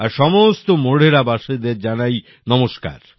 আর সমস্ত মোঢেরা বাসীদের জানাই নমস্কার